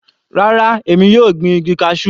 Rárá, èmi yóò gbin igi cashew.